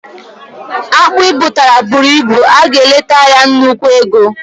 Akpụ i butara bụrụ ịbụ, ị ga eleta ya nnukwu ego